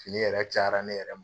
Fini yɛrɛ cayara ne yɛrɛ ma.